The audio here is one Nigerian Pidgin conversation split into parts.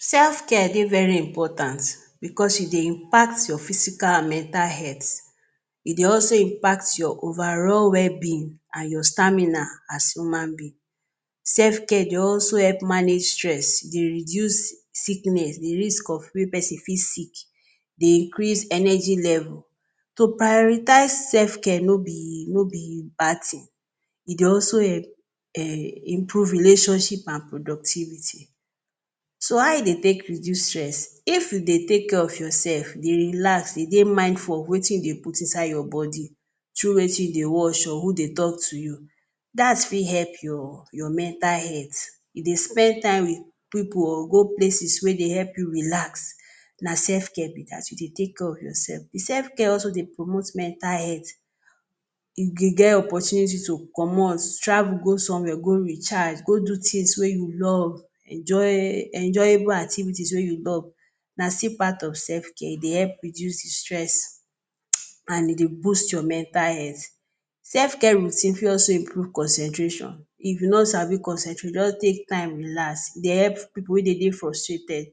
Selfcare dey very important bicos you dey impact your physical and mental health e dey also impact your overall well-being and your stamina as human being. Self care dey also help manage stress, dey reduce sickness, di risk of way pesin fit sick, dey increase energy level. To prioritise self care nobi nobi bad tin, e dey also help um improve relationship and productivity. So how e dey take reduce stress? If you dey take care of your sef dey relax, dey de mindful of wetin you dey put inside your body, through wetin you dey watch or who dey tok to you dats fit help your your mental health, e dey spend time with pipu or go places wey dey help you relax na sef care be dat. You Dey take care of your sef. Di sef care also dey promote mental health you ge get opportunity to comot, travel go somewhere go recharge go do tins wey you love enjoy enjoyable activities wey you love na stil part of sef care e dey help the reduce stress um and e dey boost your mental health. Sef care routine fit also improve concentration, if you no sabi concentrate just take time relax e dey help pipo wey dey de frustrated.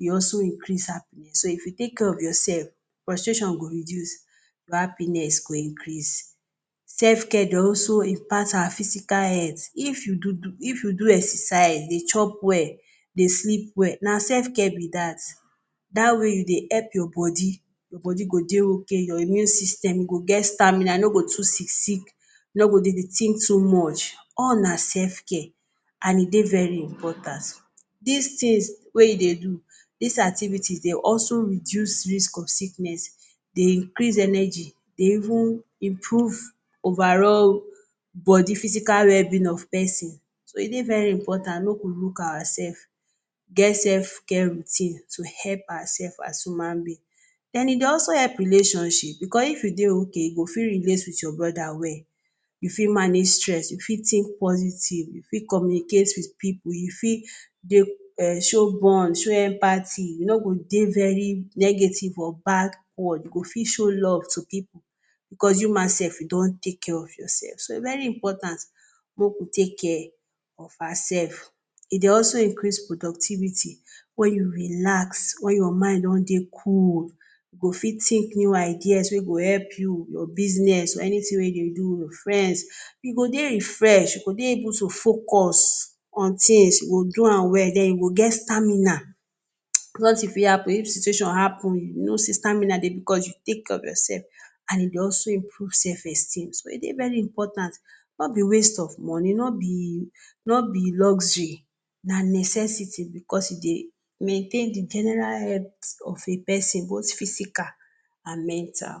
E also increase, so if you take care of your sef frustration go reduce, your happiness go increase. Sef care dey also impact our physical health if you do, if you do exercise, dey chop well dey sleep well na sef care be dat, that way you dey help your body, your body go dey ok, your immune system go get stamina no go too sick sick, no go dey dey think too much, all na sef care and e dey very important. Dis tins wey you dey do, dis activities dey also reduce risk of sickness dey increase energy dey even improve overall body physical well-being of pesin so e dey very important make we look oursefs. Get self care routine to help our sefs as human being. Den e dey also help relationship bicos if you dey ok, you go fit relate wit your Broda well, you fit manage stress, you fit think positive you fit Communicate wit pipu, you fit um show bond, show empathy you no go dey very negative or back ward, you go fit show love to pipu coz you ma sef you don take care of your sef, so very important make we take care of ourselve e dey also increase productivity wen you relax wen your mind don dey cool you go fit think new ideas wey go help you your biznes or anytin wey you dey do, friends you go dey refresh you go dey able to focus on tins you go do am well den you go get stamina bicos if e happen if situation happun you know say stamina dey, bicos you take care of your sef, and e dey also improve self-esteem, so e dey very important nobi waste of money nobi nobi luxury na necessity bicos you dey maintain di general hex of a pesin both physical and mental.